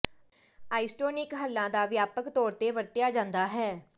isotonic ਹੱਲਾਂ ਦਾ ਵਿਆਪਕ ਤੌਰ ਤੇ ਵਰਤਿਆ ਜਾਂਦਾ ਹੈ